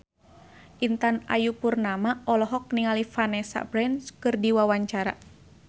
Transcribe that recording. Intan Ayu Purnama olohok ningali Vanessa Branch keur diwawancara